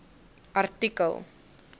artikel